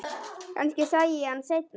Kannski sæi ég hann seinna.